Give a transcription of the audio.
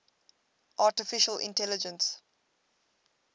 artificial intelligence